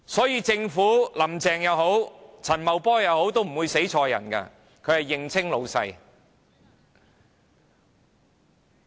因此政府，無論"林鄭"或陳茂波也不會弄錯，他們會認清誰是老闆。